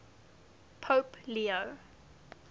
pope leo